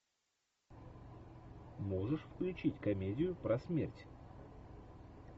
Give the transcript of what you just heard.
можешь включить комедию про смерть